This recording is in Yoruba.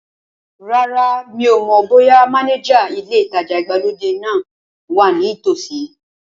Rárá, mi ò mọ̀ bóyá mánéjà ilé ìtajà ìgbàlódé náà wa ní tòsí